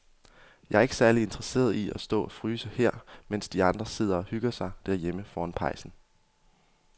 Jeg er ikke særlig interesseret i at stå og fryse her, mens de andre sidder og hygger sig derhjemme foran pejsen.